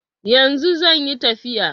Yanzu zanyi tafiya